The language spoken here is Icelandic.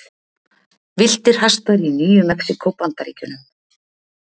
Villtir hestar í Nýju-Mexíkó, Bandaríkjunum.